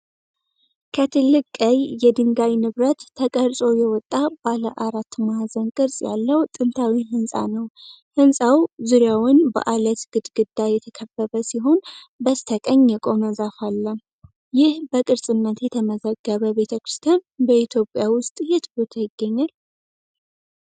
ከትልቅ ቀይ የድንጋይ ንብረት ተቀርጾ የወጣ ባለ አራት ማዕዘን ቅርጽ ያለው ጥንታዊ ሕንጻ ነው። ሕንፃው ዙሪያውን በዐለት ግድግዳ የተከበበ ሲሆን በስተቀኝ የቆመ ዛፍ አለ። ይህ በቅርስነት የተመዘገበ ቤተክርስቲያን በኢትዮጵያ ውስጥ የት ቦታ ይገኛል?